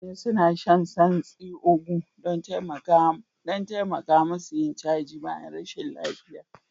Mutane suna shan santsi Ugu don taimaka musu yin caji bayan rashin lafiya